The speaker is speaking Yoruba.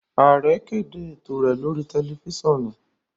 Aare kede eto rẹ lori tẹlifisiọnu.